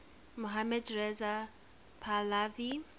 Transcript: mohammad reza pahlavi